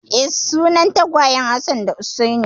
Eh, sunan tagwayen Hassan da Hussaini.